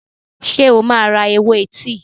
Ṣé o máa ra ewé tíì?